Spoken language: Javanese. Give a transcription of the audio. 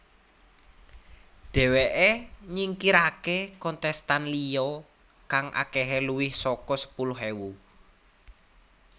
Dheweké nyingkiraké kontestan liya kang akehé luwih saka sepuluh ewu